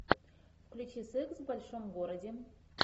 включи секс в большом городе